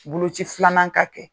Boloci filanan ka kɛ.